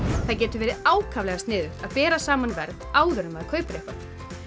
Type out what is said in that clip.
það getur verið ákaflega sniðugt að bera saman verð áður en maður kaupir eitthvað